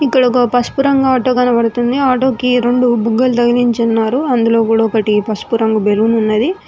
ఇక్కడ ఒక పసుపు రంగు ఆటో కనపడుతుంది ఆటో కి రెండు బుగ్గలు తగిలించి ఉన్నారు అందులో కూడా ఒకటి పసుపు రంగు బెలూన్ ఉన్నది.